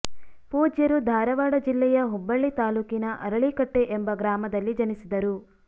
ಪೂಜ್ಯರು ಧಾರವಾಡ ಜಿಲ್ಲೆಯ ಹುಬ್ಬಳ್ಳಿ ತಾಲೂಕಿನ ಅರಳೀಕಟ್ಟಿ ಎಂಬ ಗ್ರಾಮದಲ್ಲಿ ಜನಿಸಿದರು